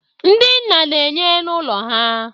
ndị nna na-enye n'ụlọ ha